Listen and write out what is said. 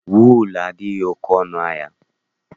Wuulu adịghị oke ọnụ ahịa.